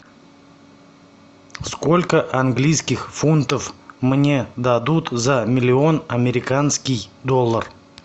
сколько английских фунтов мне дадут за миллион американский доллар